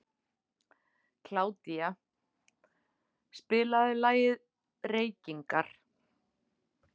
Kládía, spilaðu lagið „Reykingar“.